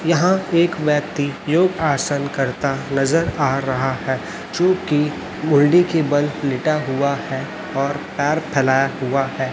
यहां एक व्यक्ति योग आसन करता नजर आ रहा है जो कि मुंडी के बल लेटा हुआ है और पैर फैलाया हुआ है।